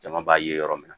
Jama b'a ye yɔrɔ min na